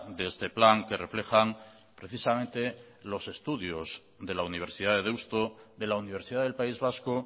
de este plan que reflejan precisamente los estudios de la universidad de deusto de la universidad del país vasco